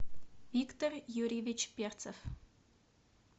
виктор юрьевич перцев